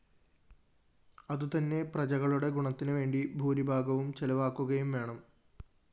അതുതന്നെ പ്രജകളുടെ ഗുണത്തിനുവേണ്ടി ഭൂരിഭാഗവും ചെലവാക്കുകയുംവേണം